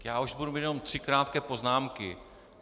Já už budu mít jenom tři krátké poznámky.